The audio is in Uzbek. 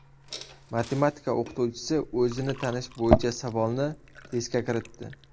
Matematika o‘qituvchisi o‘zini tanish bo‘yicha savolni testga kiritdi.